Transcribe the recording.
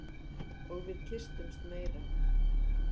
Og við kyssumst meira.